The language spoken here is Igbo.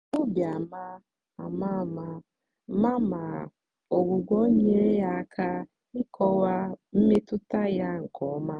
obi ama ama ama ama ma ọgwụgwọ nyeere ya aka ịkọwa mmetụta ya nke ọma.